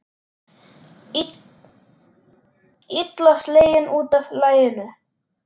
Illa sleginn út af laginu.